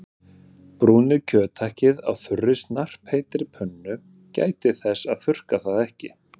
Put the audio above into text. Brúnið kjöthakkið á þurri snarpheitri pönnu- gætið þess að þurrka það ekki.